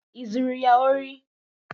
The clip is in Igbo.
Ị zuru ya ori?